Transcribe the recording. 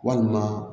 Walima